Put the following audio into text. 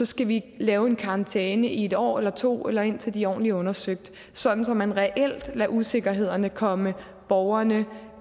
skal vi lave en karantæne i et år eller to eller indtil de er ordentligt undersøgt sådan at man reelt lader usikkerhederne komme borgerne